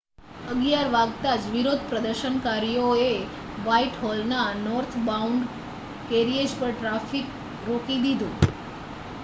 11:00 વાગતાજ વિરોધપ્રદર્શનકારીઓએ વાઇટહોલના નોર્થબોઉંડ કેરિએજ પર ટ્રાફિક રોકી દીધુ